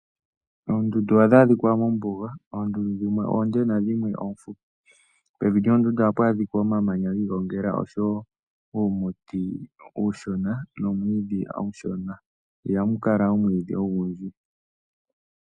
Oondundu ohadhi adhika mombuga. Oondundu dhimwe oonde nadhimwe oofupi. Pevi lyoondundu ohapu adhika omamanya gi igongela oshowo uumiti uushona oshowo uumwiidhi uushona, ihamu kala omwiidhi ogundji.